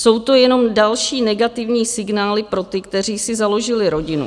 Jsou to jenom další negativní signály pro ty, kteří si založili rodinu.